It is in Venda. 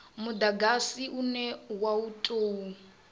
mudagasi une wa u tou